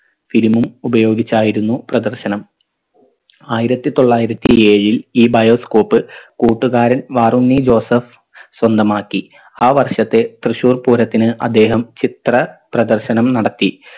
film ഉം ഉപയോഗിച്ചായിരുന്നു പ്രദർശനം ആയിരത്തി തൊള്ളായിരത്തി ഏഴിൽ ഈ bioscope കൂട്ടുകാരൻ വാറുണ്ണി ജോസഫ് സ്വന്തമാക്കി ആ വർഷത്തെ തൃശൂർ പൂരത്തിന് അദ്ദേഹം ചിത്ര പ്രദർശനം നടത്തി